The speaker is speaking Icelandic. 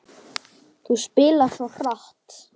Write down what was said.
Þú spilar svo hratt.